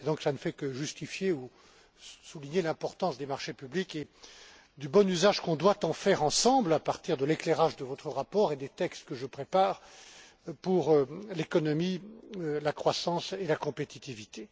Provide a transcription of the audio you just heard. Cela ne fait donc que justifier ou souligner l'importance des marchés publics et du bon usage que nous devons en faire ensemble à partir de l'éclairage de votre rapport et des textes que je prépare pour l'économie, la croissance et la compétitivité.